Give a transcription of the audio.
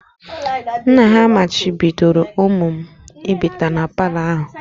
Nna ha machibidoro ụmụ m ịbata na palọ ahụ